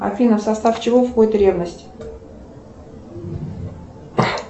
афина в состав чего входит ревность